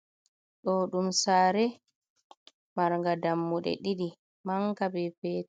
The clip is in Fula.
Ɗo ɗum saare marga dammude ɗiɗi manga be petal.